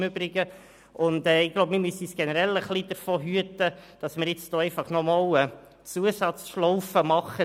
Wir müssen uns generell davor hüten, eine Zusatzschlaufe zu drehen.